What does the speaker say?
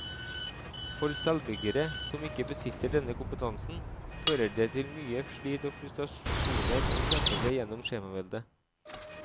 For selvbyggere som ikke besitter denne kompetansen, fører det til mye slit og frustrasjoner å kjempe seg gjennom skjemaveldet.